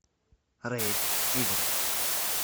рейд тигров